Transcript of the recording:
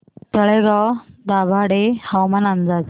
तळेगाव दाभाडे हवामान अंदाज